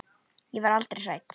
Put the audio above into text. Ég var aldrei hrædd.